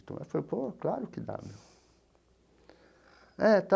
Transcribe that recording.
Então eu falei, pô, claro que dá meu é tá.